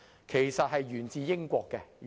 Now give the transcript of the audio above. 其實它沿自英國。